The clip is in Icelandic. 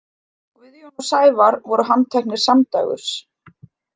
Guðjón og Sævar voru handteknir samdægurs.